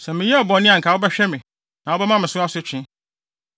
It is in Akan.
Sɛ meyɛɛ bɔne a anka wobɛhwɛ me na wobɛma me so asotwe.